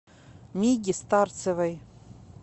миге старцевой